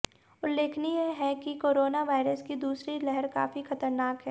उल्लेखनीय है कि कोरोना वायरस की दूसरी लहर काफी खतरनाक है